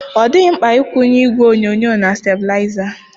Ọ dịghị mkpa ịkwunye igwe onyonyo na stablaịza.